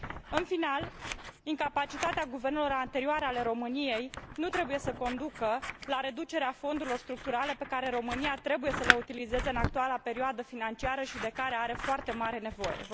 În final, incapacitatea guvernelor anterioare ale României nu trebuie să conducă la reducerea fondurilor structurale pe care România trebuie să le utilizeze în actuala perioadă financiară și de care are foarte mare nevoie.